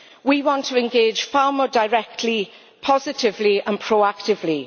We want to engage far more directly, positively and proactively.